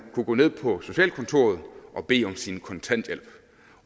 kunne gå ned på socialkontoret og bede om sin kontanthjælp